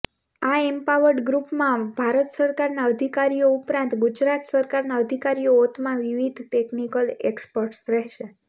આ એમ્પાવર્ડ ગ્રુપમાં ભારત સરકારના અધિકારીઓ ઉપરાંત ગુજરાત સરકારના અધિકારીઓતથા વિવિધ ટેકનીકલ એક્ષ્પર્ટ્સ રેહશે